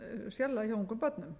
sérlega hjá ungum börnum